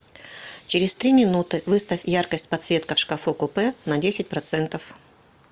через три минуты выставь яркость подсветка в шкафу купе на десять процентов